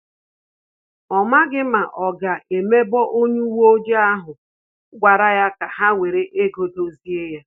Ọ maghị ma ọ ga emebo onye uwe ojii ahụ gwara ya ka ha were ego dozie